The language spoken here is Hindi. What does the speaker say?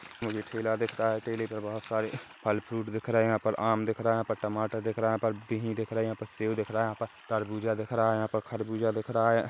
मुझे ठेला दिख रहा है ठेले पे बहुत सारे फल फ्रूट दिख रहे है यहा पर आम दिख रहा है यहा पर टमाटर दिख रहा है यहा पर बिही दिख रहे है यहा पर सेव दिख रहा है यहा पर तरबूजा दिख रहा है यहा पर खर्भुजा दिख रहा है।